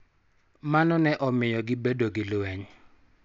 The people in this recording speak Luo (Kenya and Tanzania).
Mano ne omiyo gibedo gi lweny.